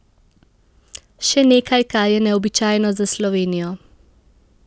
Še nekaj, kar je neobičajno za Slovenijo.